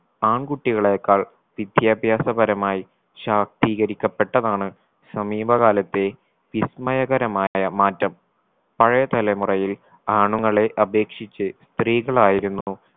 ആൺകുട്ടികളെകാൾ വിദ്യാഭ്യാസപരമായി ശാക്തീകരിക്കപ്പെട്ടതാണ് സമീപകാലത്തെ വിസ്മയകരമായ മാറ്റം പഴയ തലമുറയിൽ ആണുങ്ങളെ അപേക്ഷിച്ച് സ്ത്രീകളായിരുന്നു